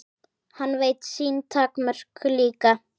Hann veit sín takmörk líka.